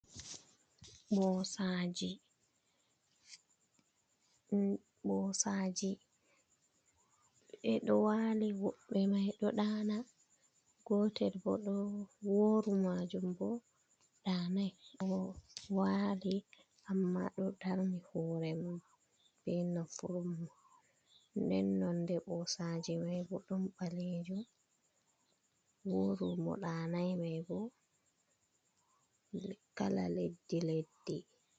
Ɓosaji ɓeɗo wali wodbe mai ɗo daana gotel bo oworu majum bo danai o wali amma do darmi hurem be naffurummo dennon de bosaji mai bo dum balijo woru mo danai mai bo kala leddi leddi.